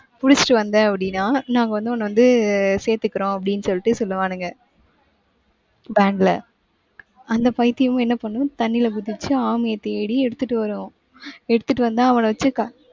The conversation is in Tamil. புடிச்சிட்டு வந்த அப்படின்னா நாங்க வந்து உன்னை வந்து சேர்த்துக்கிறோம் அப்படின்னு சொல்லிட்டு சொல்லுவானுங்க. band ல. அந்த பைத்தியமும் என்ன பண்ணும்? தண்ணியில குதிச்சு, ஆமைய தேடி எடுத்துட்டு வரும். எடுத்துட்டு வந்து அவனை வச்சு க~